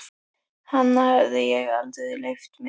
Hana hafði ég aldrei leyft mér.